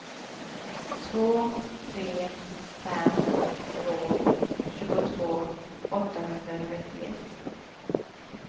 två tre fem två tjugotvå åttahundratrettioett